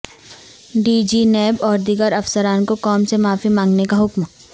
D G NAB اور دیگر افسران کو قوم سے معافی مانگنے کا حکم